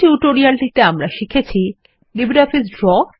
এই টিউটোরিয়ালটিতে আমরা শিখেছি লিব্রিঅফিস ড্র